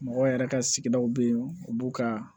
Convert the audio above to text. Mɔgɔw yɛrɛ ka sigidaw bɛ yen u b'u ka